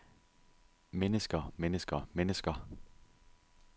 mennesker mennesker mennesker